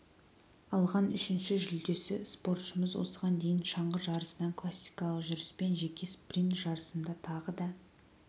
алған үшінші жүлдесі спортшымыз осыған дейін шаңғы жарысынан классикалық жүріспен жеке спринт жарысында тағы да